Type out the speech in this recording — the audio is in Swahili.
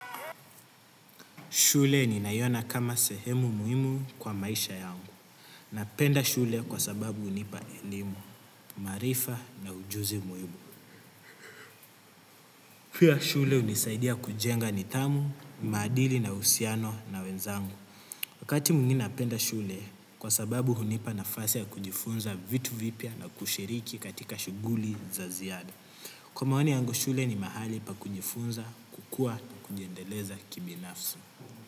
Shule nina iona kama sehemu muhimu kwa maisha yangu. Napenda shule kwa sababu hunipa elimu, maarifa na ujuzi muhimu. Pia shule hunisaidia kujenga nidhamu, maadili na uhusiano na wenzangu. Wakati mwingi napenda shule kwa sababu hunipa nafasi ya kujifunza vitu vipya na kushiriki katika shughuli za ziada. Kwa maoni yangu shule ni mahali pa kujifunza kukuwa na kujiendeleza kibinafsi.